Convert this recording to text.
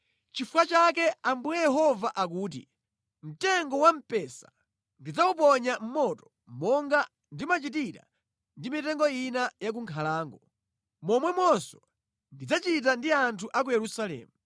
“Nʼchifukwa chake Ambuye Yehova akuti, ‘Mtengo wamphesa ndidzawuponya mʼmoto monga ndimachitira ndi mitengo ina ya ku nkhalango. Momwemonso ndidzachita ndi anthu a ku Yerusalemu.